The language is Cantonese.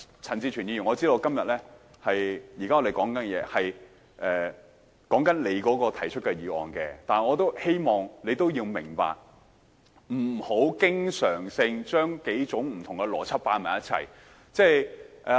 陳志全議員，我知道現在我們正在討論你提出的議案，但我亦希望你明白，不要經常性將數種不同的邏輯合併。